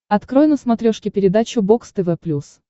открой на смотрешке передачу бокс тв плюс